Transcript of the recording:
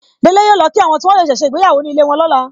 Délé yọ lọ kí àwọn tí wọ́n ṣẹ̀ṣẹ̀ ṣe ìgbéyàwó ní ilé wọn lọ́la.